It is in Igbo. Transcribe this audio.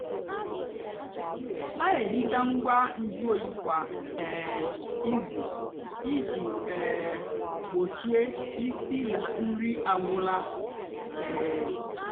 nà-èhicha ngwa nju óyí kwá um ízú íjì um gbochie ísí nà nri agwụla. um